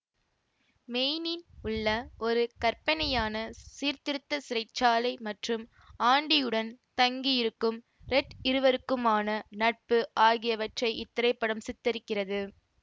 மெய்னின் உள்ள ஒரு கற்பனையான சீர்திருத்த சிறை சாலை மற்றும் ஆண்டியுடன் தங்கி இருக்கும் ரெட் இருவருக்குமான நட்பு ஆகியவற்றை இத்திரைப்படம் சித்தரிக்கிறது